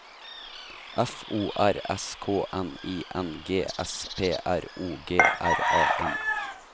F O R S K N I N G S P R O G R A M